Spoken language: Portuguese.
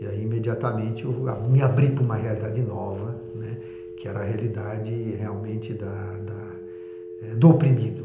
E, ai imediatamente, eu me abri para uma realidade nova, né, que era a realidade realmente da da eh do oprimido.